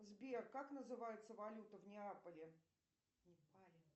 сбер как называется валюта в неаполе в непале